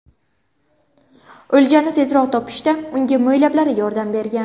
O‘ljani tezroq topishda unga mo‘ylablari yordam bergan.